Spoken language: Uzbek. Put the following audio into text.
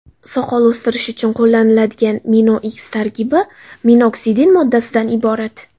Soqol o‘stirish uchun qo‘llaniladigan MinoX tarkibi minoksidin moddasidan iborat.